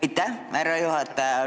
Aitäh, härra juhataja!